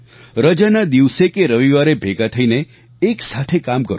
રજાના દિવસે કે રવિવારે ભેગા થઈને એક સાથે કામ કરો